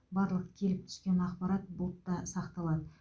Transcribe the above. барлық келіп түскен ақпарат бұлтта сақталады